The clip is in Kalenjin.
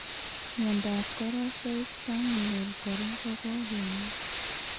Miondab karosoik terminal kora kokokemwaa